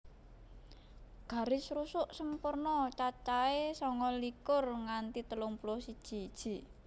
Garis rusuk sempurna cacahé sanga likur nganti telung puluh siji iji